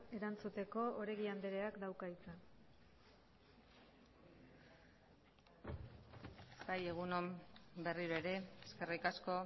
erantzuteko oregi andreak dauka hitza bai egun on berriro ere eskerrik asko